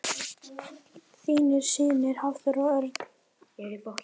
Þínir synir Hafþór og Örn.